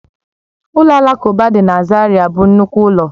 Ụlọ alakụba dị na Zaira bụ nnukwu ụlọ